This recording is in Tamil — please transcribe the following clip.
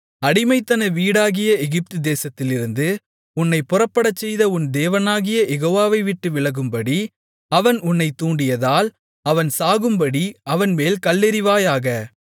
அடிமைத்தன வீடாகிய எகிப்துதேசத்திலிருந்து உன்னைப் புறப்படச்செய்த உன் தேவனாகிய யெகோவாவை விட்டுவிலகும்படி அவன் உன்னை தூண்டியதால் அவன் சாகும்படி அவன்மேல் கல்லெறிவாயாக